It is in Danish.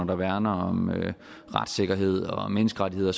der værner om retssikkerhed og menneskerettigheder